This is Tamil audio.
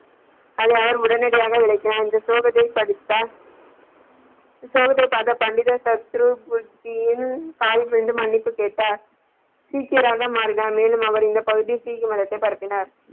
அடியார் உடனடியாக விளக்கினார் இந்த ஸ்லோகத்தை படித்தால் இந்த சுலோகத்தை பார்த்த பண்டிதர் சத்குரு காலில் விழுந்து மன்னிப்பு கேட்டார் சீக்கியராக மாறினார் மேலும் அவர் இந்த பகுதியில் சீக்கியர் மதத்தை பரப்பினார்.